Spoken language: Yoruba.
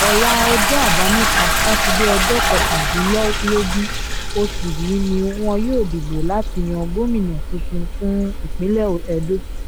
ọlá ọjọ́ àbámẹ́ta sátidé ọjọ́ kọkàndínlógún oṣù yìí ni wọn yóò dìbò láti yan gómìnà tuntun fún ìpínlẹ̀ edo